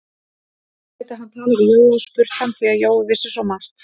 Nú gæti hann talað við Jóa og spurt hann, því að Jói vissi svo margt.